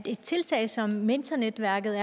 et tiltag som mentornetværket